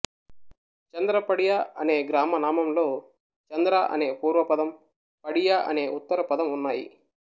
చంద్రపడియ అనే గ్రామనామంలో చంద్ర అనే పూర్వపదం పడియ అనే ఉత్తరపదం ఉన్నాయి